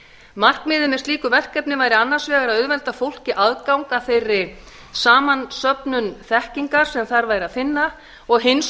markmiðið með slíku verkefni væri annars vegar að auðvelda fólki aðgang að þeirri samansöfnun þekkingar sem þar væri að finna og hins